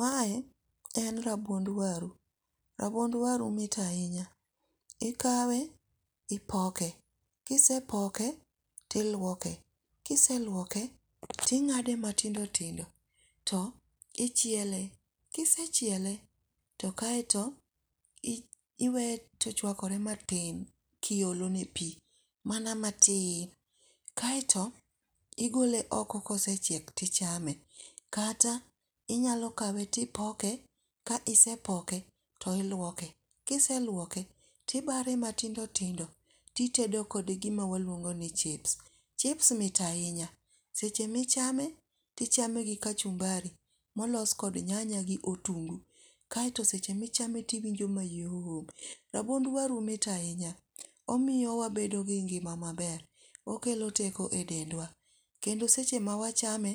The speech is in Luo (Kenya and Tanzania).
Mae en rabuond waru. Rabuond waru mit ahinya. Ikawe ipoke, kisepoke tilwoke. Kiselwoke tingáde matindo tindo to ichiele. Kisechiele, to kaeto iwee to ochwakore matin, tiolo ne pi mana matin. Kaeto igole oko kosechiek tichame. Kata inyalo kawe tipoke, ka isepoke to ilwoke. Ka iselwoke to ibare matindo tindo titedo kode gima waluongo ni chips. chips mit ahinya. Seche ma ichame to ichame gi kachumbari molos kod nyanya gi otungu. Kaeto seche ma ichame to iwinjo mayom. Rabuond waru mit ahinya. Omiyo wabedo gi ngima maber. Okelo teko e dendwa. Kendo seche ma wachame,